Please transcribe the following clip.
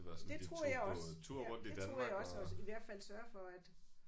Det troede jeg også. Ja det troede jeg også også i hvert fald sørge for at